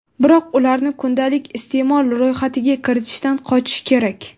biroq ularni kundalik iste’mol ro‘yxatiga kiritishdan qochish kerak.